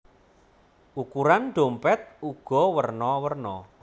Ukuran dhompèt uga werna werna